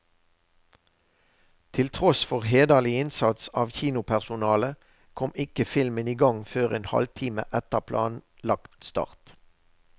Til tross for hederlig innsats av kinopersonalet, kom ikke filmen igang før en halvtime etter planlagt start.